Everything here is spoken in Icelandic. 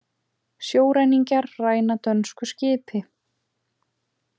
Sjóræningjar ræna dönsku skipi